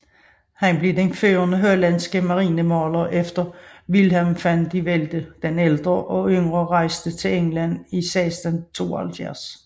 Han blev den førende hollandske marinemaler efter Willem van de Velde den ældre og yngre rejste til England i 1672